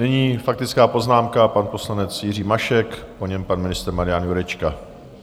Nyní faktická poznámka pan poslanec Jiří Mašek, po něm pan ministr Marian Jurečka.